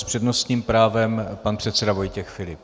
S přednostním právem pan předseda Vojtěch Filip.